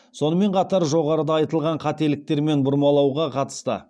сонымен қатар жоғарыда айтылған қателіктер мен бұрмалауға қатысты